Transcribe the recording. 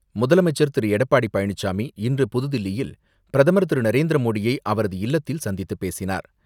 முதலமைச்சர் திரு எடப்பாடி பழனிசாமி, இன்று புது தில்லியில் பிரதமர் திரு நரேந்திர மோடியை அவரது இல்லத்தில் சந்தித்து பேசினார்.